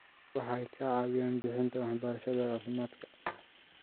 Waxay ka caawiyaan bixinta waxbarashada caafimaadka.